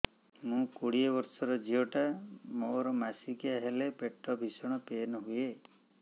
ମୁ କୋଡ଼ିଏ ବର୍ଷର ଝିଅ ଟା ମୋର ମାସିକିଆ ହେଲେ ପେଟ ଭୀଷଣ ପେନ ହୁଏ